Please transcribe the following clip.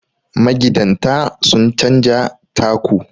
magidanta sun canja taku